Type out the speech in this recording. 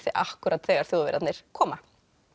akkúrat þegar Þjóðverjarnir koma